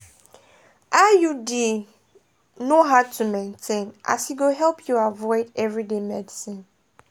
iud no hard to maintain as e go help you avoid everyday medicines.